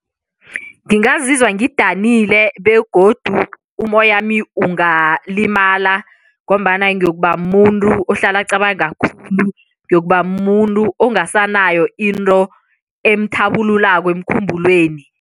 Ngingazizwa ngidanile begodu umoyami ungalimala ngombana ngiyokuba mumuntu ohlala acabanga khulu, ngiyokuba mumuntu ongasanayo into emthabululako emkhumbulweni.